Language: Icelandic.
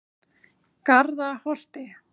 Garðaholti